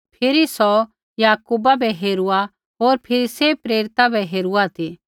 फिरी सौ याकूबा बै हेरुऐ होर फिरी सैभ प्रेरिता बै हेरुआ ती